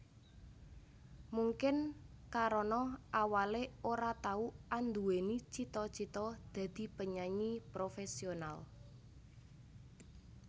Mungkin karana awalé ora tau anduweni cita cita dadi penyanyi professional